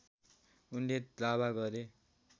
उनले दावा गरे